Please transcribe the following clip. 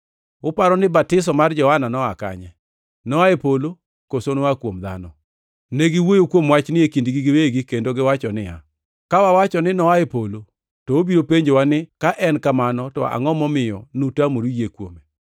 Uparo ni batiso mar Johana noa kanye. Noa e polo, koso noa kuom dhano?” Negiwuoyo kuom wachni e kindgi giwegi kendo giwacho niya, “Ka wawacho ni, ‘Noa e polo,’ to obiro penjowa ni, ‘ka en kamano to angʼo momiyo nutamoru yie kuome?’